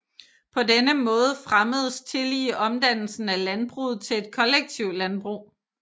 På denne måde fremmedes tillige omdannelsen af landbruget til et kollektivlandbrug